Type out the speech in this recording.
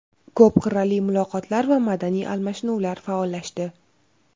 Ko‘p qirrali muloqotlar va madaniy almashinuvlar faollashdi.